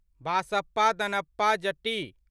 Basappa Danappa Jatti